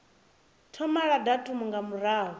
thoma la datumu nga murahu